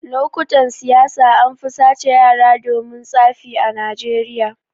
Lokutan siyasa anfi sace yara domin tsafi a najeriya